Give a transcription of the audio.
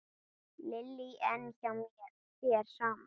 Lillý: En hjá þér, sama?